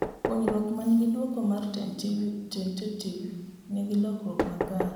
puonjruok manengi duoko ma tentative nigi lokruok makare